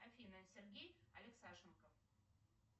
афина сергей алексашенко